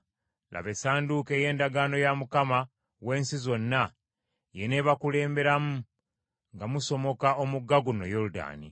Laba, Essanduuko ey’Endagaano ya Mukama w’ensi zonna y’eneebakulemberamu nga musomoka omugga guno Yoludaani.